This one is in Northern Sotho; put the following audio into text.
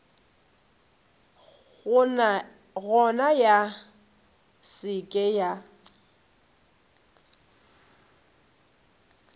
gona ya se ke ya